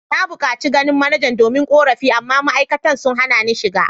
Na bukaci ganin manajan domin korafi amma ma’aikatan sun hana ni shiga.